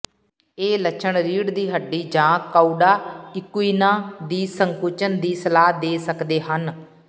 ਇਹ ਲੱਛਣ ਰੀੜ੍ਹ ਦੀ ਹੱਡੀ ਜਾਂ ਕਉਡਾ ਇਕੁਇਨਾ ਦੀ ਸੰਕੁਚਨ ਦੀ ਸਲਾਹ ਦੇ ਸਕਦੇ ਹਨ